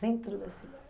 Centro da cidade.